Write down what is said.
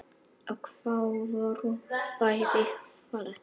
Og þau voru bæði falleg.